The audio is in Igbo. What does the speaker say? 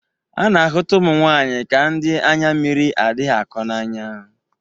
A na-ahụta ụmụ nwaanyị ka ndị anya mmiri adịghị akọ n'anya.